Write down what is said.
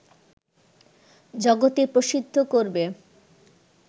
জগতে প্রসিদ্ধ করবে